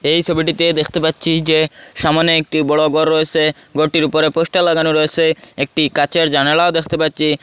এই সবিটিতে দেখতে পাচ্চি যে সামোনে একটি বড় গর রয়েসে গরটির উপরে পোস্টার লাগানো রয়েসে একটি কাঁচের জানালাও দেখতে পাচ্চি।